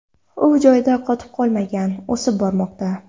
U joyida qotib qolmagan, o‘sib bormoqda.